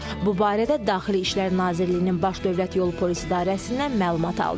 Bu barədə Daxili İşlər Nazirliyinin Baş Dövlət Yolu Polis İdarəsindən məlumat aldıq.